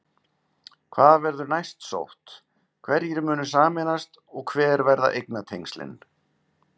Hvar verður næst sótt, hverjir munu sameinast og hver verða eignatengslin?